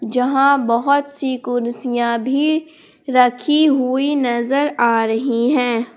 जहां बहुत सी कुर्सियां भी रखी हुई नजर आ रही हैं।